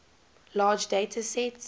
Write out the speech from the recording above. large data sets